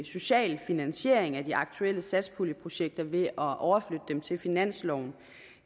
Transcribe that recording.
social finansiering af de aktuelle satspuljeprojekter ved at overflytte dem til finansloven